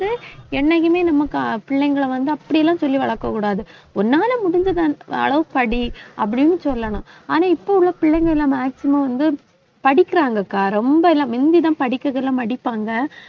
என்னைக்குமே நம்ம க~ பிள்ளைங்களை வந்து, அப்படியெல்லாம் சொல்லி வளர்க்கக் கூடாது. உன்னால முடிஞ்சது அந்த அளவு படி, அப்படின்னு சொல்லணும். ஆனா இப்ப உள்ள பிள்ளைங்க எல்லாம் maximum வந்து, படிக்கறாங்கக்கா ரொம்ப எல்லாம் முந்திதான் படிக்கிறதுல படிப்பாங்க